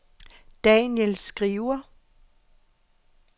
Daniel Skriver